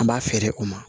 An b'a feere o ma